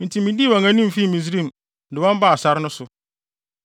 Enti midii wɔn anim fii Misraim, de wɔn baa sare no so.